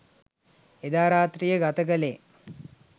එදා රාත්‍රිය ගත කළේ